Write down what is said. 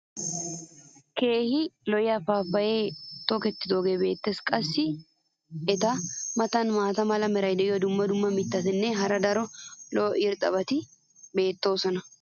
keehi lo'iya paappaya tokkidoogee beetees. qassi eta matan maata mala meray diyo dumma dumma mitatinne hara daro lo'iya irxxabati beettoosona.